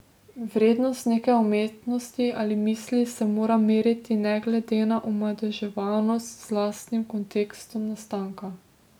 Vrednost neke umetnosti ali misli se mora meriti ne glede na omadeževanost z lastnim kontekstom nastanka.